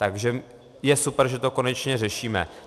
Takže je super, že to konečně řešíme.